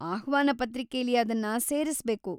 ಆಹ್ವಾನ ಪತ್ರಿಕೆಲಿ ಅದನ್ನ ಸೇರಿಸ್ಬೇಕು.